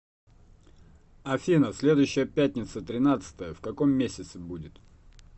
афина следующая пятница тринадцатое в каком месяце будет